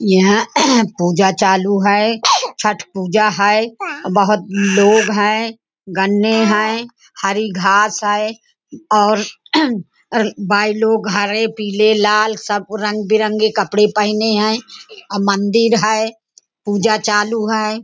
आणि हे ह्या ऑफिस जे मधल काम आहे खुप चांगल काम आहे आणि जे वर्कर्स आहेत एम्प्लॉयर आणि मॅनेजर आहेत ते पण खुप चांगले आहे.